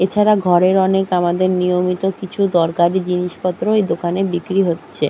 এছাড়া ঘরের অনেক আমাদের নিয়মিত কিছু দরকারি জিনিসপত্র এই দোকানে বিক্রি হচ্ছে।